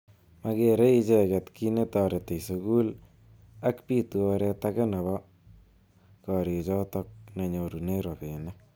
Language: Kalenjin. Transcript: Makerei icheket ki netoreti sukul ak bitu oret age nebo korichotok nenyorune robinik.